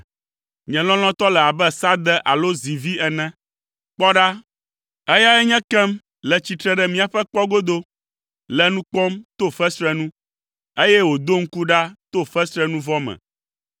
Nye lɔlɔ̃tɔ le abe sãde alo zivi ene. Kpɔ ɖa, eyae nye ekem le tsitre ɖe míaƒe kpɔ godo, le nu kpɔm to fesre nu, eye wòdo ŋku ɖa to fesrenuvɔ me.